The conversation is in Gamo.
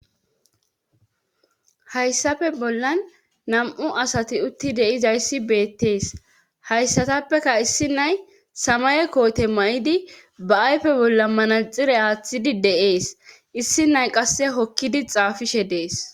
Hayssafe bollan nam'u asati utti de'izayssi beettees hayssatappeka issi nay samaye koote ma'idi ba ayfe bolla manaxire aaththidi de'ees issi nay qasse hokkidi xaafishshe dees